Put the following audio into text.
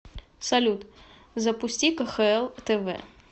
салют запусти кхл тв